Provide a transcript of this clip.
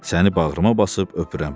Səni bağrıma basıb öpürəm.